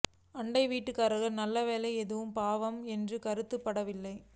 அண்டை வீட்டுக்காரருக்கு நல்ல வேலை எதுவும் பாவம் என்று கருதப்படுவதில்லை